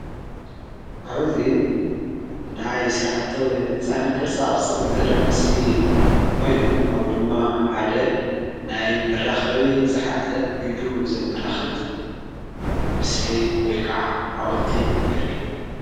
ኣብዙይ ናይ ሥራሕቲ ሕንፃን ቅርጻቕርጸን ዝረአ ምስሊ ኾይኑ ኣው ድማ ሓደ ናይ መራኸቢ ዘኃዘ ኢዱ ዘመላኽት ምስሊ ወይ ከዓ ሓወልቲ የርኢ::